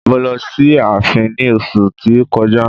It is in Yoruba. Mo lọ sí ààfin ní oṣu tí ó kọjá.